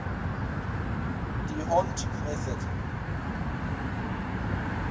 d hondt method